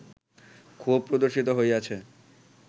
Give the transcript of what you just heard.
ক্ষোভ প্রদর্শিত হইয়াছে